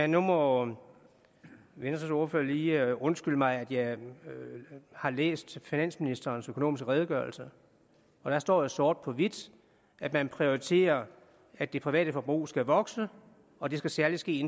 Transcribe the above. nu må venstres ordfører lige undskylde mig at jeg har læst finansministerens økonomiske redegørelse deri står sort på hvidt at man prioriterer at det private forbrug skal vokse og det skal særlig ske